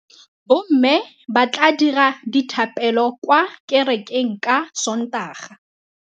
Bommê ba tla dira dithapêlô kwa kerekeng ka Sontaga.